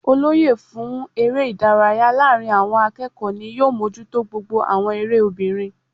Olóyè fún eré ìdárayá láàrin àwon akéèkó ni yóò mójútó gbogbo àwon eré obìnrin